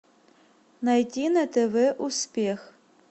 найти на тв успех